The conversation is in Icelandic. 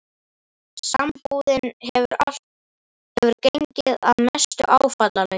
Sambúðin hefur gengið að mestu áfallalaust.